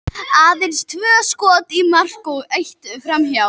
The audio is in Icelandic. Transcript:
Aðeins tvö skot í mark og eitt framhjá.